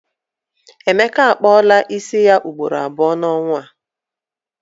Emeka a kpụọla isi ya ugboro abụọ n'ọnwa a.